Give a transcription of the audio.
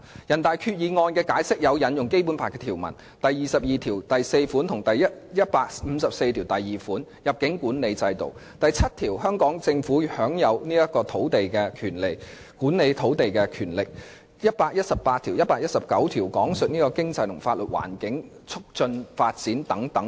人大常委會的《決定》引用了《基本法》第二十二條第四款；第一百五十四條第二款有關入境管理制度的條文；第七條有關香港政府享有管理土地的權力的條文，以及第一百一十八條和第一百一十九條關乎經濟和法律環境及促進發展等的條文。